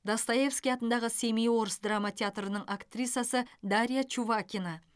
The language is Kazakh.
достоевский атындағы семей орыс драма театрының актрисасы дарья чувакина